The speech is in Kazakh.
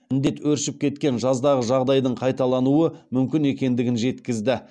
індет өршіп кеткен жаздағы жағдайдың қайталануы мүмкін екендігін жеткізді